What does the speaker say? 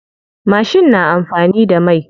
Mashin na amfani da mai.